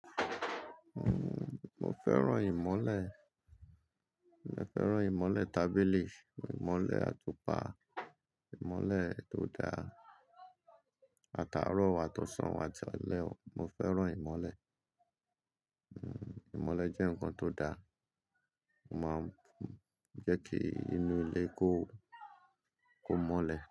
Mo fẹ́ràn ìmọ́lẹ̀. Mo fẹ́ràn ìmọ́lẹ̀ tábìlì, ìmọ́lẹ̀ atupa, ìmọ́lẹ̀ tó da, ataaro ó, àtọ̀sán, àti alẹ́ Mo fẹ́ràn ìmọ́lẹ̀. Uhm, ìmọ́lẹ̀ jẹ́ nǹkan tó da. Ó máa ń jẹ́ kí inú ilé kó, kó mọ́lẹ̀